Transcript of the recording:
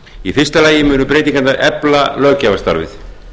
í fyrsta lagi munu breytingarnar efla löggjafarstarfið